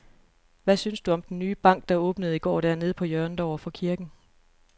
Hvad synes du om den nye bank, der åbnede i går dernede på hjørnet over for kirken?